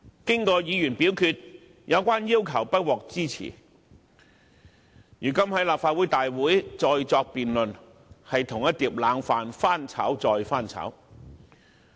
在議員表決後，有關的要求不獲支持，如今在立法會會議上再作辯論，等於將一碟冷飯翻炒再翻炒。